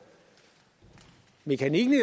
mekanikken i